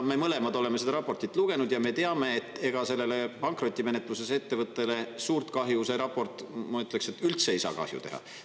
Me mõlemad oleme seda raportit lugenud ja me teame, et ega sellele pankrotimenetluses ettevõttele suurt kahju see raport, ma ütleks, üldse ei saa teha.